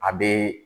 A be